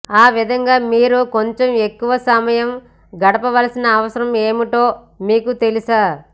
ఆ విధంగా మీరు కొంచం ఎక్కువ సమయం గడపవలసిన అవసరం ఏమిటో మీకు తెలుసా